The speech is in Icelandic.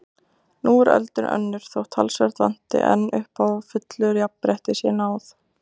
Nú er öldin önnur þótt talsvert vanti enn upp á að fullu jafnrétti séð náð.